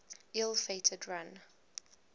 ill fated run